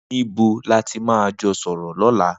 Nibó làtí mà jọ sọrọ lọ̀lá